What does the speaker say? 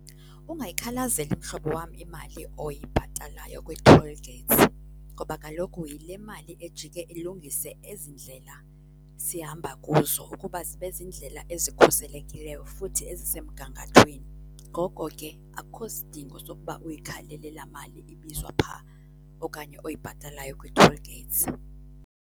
Ungayikhalazeli mhlobo wam imali oyibhatalayo kwii-toll gates ngoba kaloku yile mali ejike ilungise ezi ndlela sihamba kuzo ukuba zibe ziindlela ezikhuselekileyo futhi ezisemgangathweni. Ngoko ke akukho sidingo sokuba uyikhalele laa mali ibizwa phaa okanye oyibhatalayo kwii-toll gates.